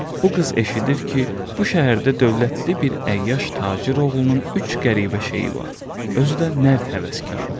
Bu qız eşidir ki, bu şəhərdə dövlətli bir əyyaş tacir oğlunun üç qəribə şeyi var, özü də nərd həvəskarıdır.